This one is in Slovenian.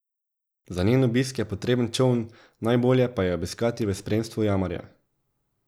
Za njen obisk je potreben čoln, najbolje pa jo je obiskati v spremstvu jamarja.